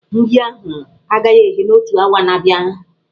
Nri ahụ agaghị eghe n'otu awa na-abịa.